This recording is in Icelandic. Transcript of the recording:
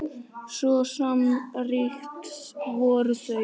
Svo samrýnd voru þau.